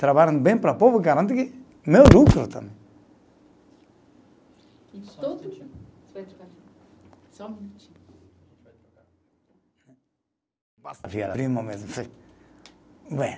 Trabalho bem para o povo, garante meu lucro também. E todo. Só um minutinho